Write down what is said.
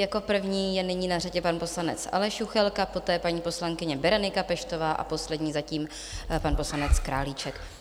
Jako první je nyní na řadě pan poslanec Aleš Juchelka, poté paní poslankyně Berenika Peštová a poslední zatím pan poslanec Králíček.